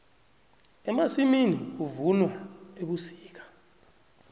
emasimini kuvunwa ebusika